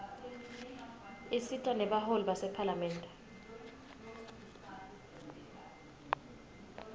isita nebaholi basemaphalamende